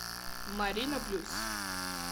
марина плюс